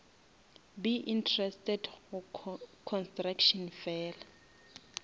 be interested go construction fela